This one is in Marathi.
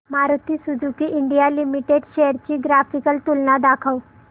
Maruti Suzuki India limited shares ची ग्राफिकल तुलना दाखव